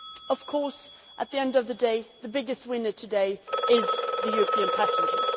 Of course, at the end of the day, the biggest winner today is the European passenger.